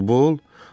Futbol?